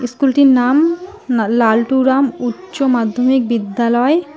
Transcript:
স্কুলটির নাম না লাল্টুরাম উচ্চ মাধ্যমিক বিদ্যালয়।